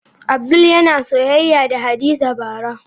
Abdul yana soyayya da Hadiza bara.